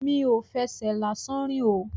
Mi ò fẹsẹ̀ lásán rìn o.